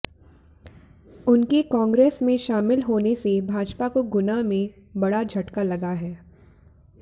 उनके कांग्रेस में शामिल होने से भाजपा को गुना में बड़ा झटका लगा है